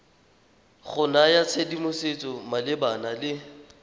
go naya tshedimosetso malebana le